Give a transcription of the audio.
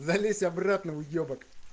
залезь обратно уебок